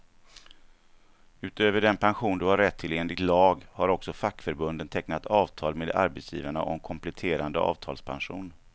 Utöver den pension du har rätt till enligt lag, har också fackförbunden tecknat avtal med arbetsgivarna om kompletterande avtalspension.